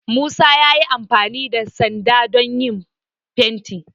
Musa ya yi amfani da sanda don yin fenti